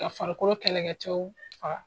Ka farikolo kɛlɛkɛcɛw faga.